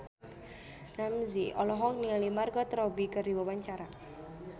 Ramzy olohok ningali Margot Robbie keur diwawancara